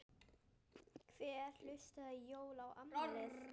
Hver einustu jól og afmæli.